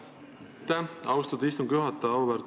Aitäh, austatud istungi juhataja!